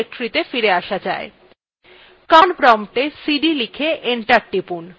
command promptএ cd লিখে করে enter টিপুন